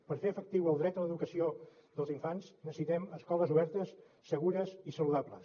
per fer efectiu el dret a l’educació dels infants necessitem escoles obertes segures i saludables